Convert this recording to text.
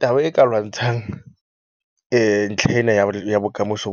Taba e ka lwantshang ntlha ena ya ya bokamoso